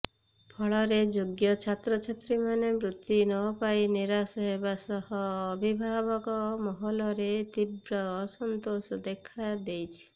ଫଳରେ ଯୋଗ୍ୟ ଛାତ୍ରଛାତ୍ରୀମାନେ ବୃତ୍ତି ନପାଇ ନିରାଶ ହେବା ସହ ଅଭିଭାବକ ମହଲରେ ତୀବ୍ର ଅସନ୍ତୋଷ ଦେଖା ଦେଇଛି